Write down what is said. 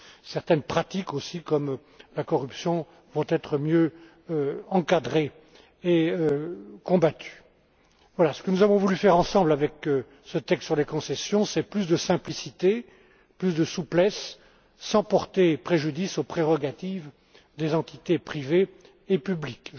Certaines pratiques comme la corruption, vont être mieux encadrées et combattues. Ce que nous avons voulu faire ensemble avec ce texte sur les concessions, c'est apporter plus de simplicité, plus de souplesse sans porter préjudice aux prérogatives des entités privées et publiques.